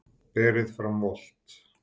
Berið fram volgt.